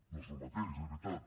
no són el mateix és veritat